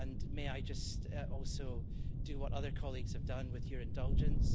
May I also just do what other colleagues have done, with your indulgence.